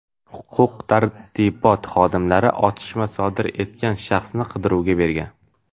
Huquq-tartibot xodimlari otishma sodir etgan shaxsni qidiruvga bergan.